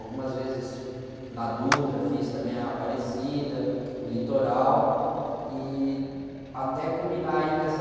Algumas vezes na Dutra fiz também a Aparecida, o Litoral e até culminar aí nessa...